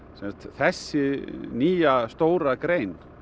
þessi nýja stóra grein